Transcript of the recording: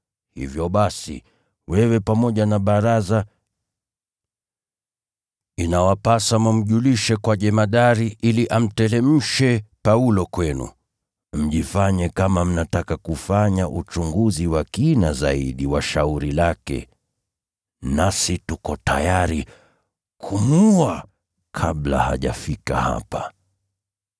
Hivyo basi, wewe pamoja na baraza, inawapasa mkamjulishe jemadari ili amteremshe Paulo kwenu, mjifanye kama mnataka kufanya uchunguzi wa kina zaidi wa shauri lake. Nasi tuko tayari kumuua kabla hajafika hapa.”